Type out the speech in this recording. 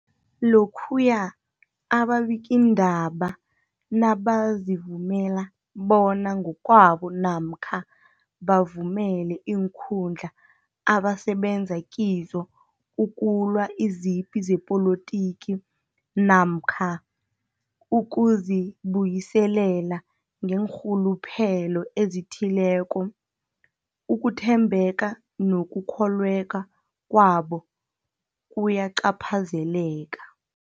Lokhuya ababikiindaba nabazivumela bona ngokwabo namkha bavumele iinkundla abasebenza kizo ukulwa izipi zepolitiki namkha ukuzi buyiselela ngeenrhuluphelo ezithileko, ukuthembeka nokukholweka kwabo kuyacaphazeleka.